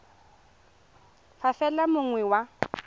fa fela yo mongwe wa